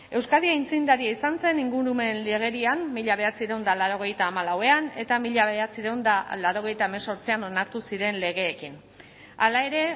euskadi aitzindaria izan zen ingurumen legerian mila bederatziehun eta laurogeita hamalauan eta mila bederatziehun eta laurogeita hemezortzian onartu ziren legeekin hala ere